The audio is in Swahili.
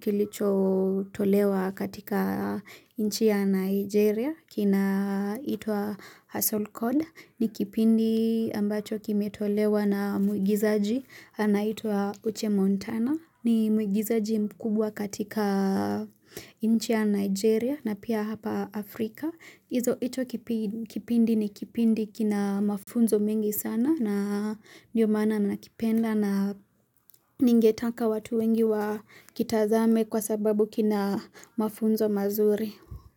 kilicho tolewa katika inchia Nigeria kina itwa Hassle Code. Ni kipindi ambacho kime tolewa na mugizaji anaitwa Uche Montana ni mugizaji mkubwa katika inchi ya Nigeria na pia hapa Afrika. Izo icho kipindi ni kipindi kina mafunzo mingi sana na ndiyo mana nanakipenda na ningetaka watu wengi wa kitazame kwa sababu kina mafunzo mazuri.